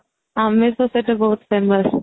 ଆମେ ତ ସେଟା ବହୁତ Famous